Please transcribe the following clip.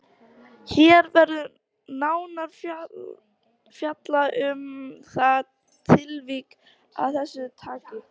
Hér verður nánar fjallað um það tilvik af þessu tagi.